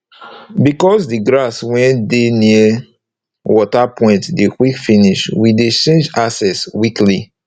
becos d grass wey de near water point dey quick finish we dey change access weekly